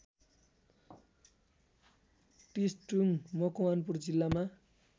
टिस्टुङ मकवानपुर जिल्लामा